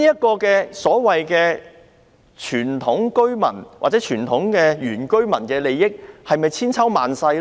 這項所謂傳統居民，或者原居民的權利，是否千秋萬世呢？